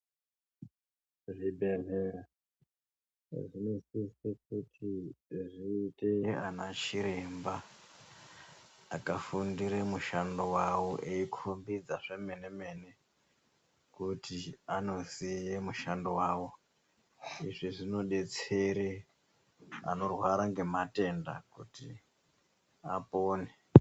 Zvibhedhlera zvinosise kuti zviite anachiremba akafundire mushando vavo eikombidza zvemene-mene, kuti anosiye mushandio vavo. Izvi zvinobetsere anorwara ngematenda kuti apone.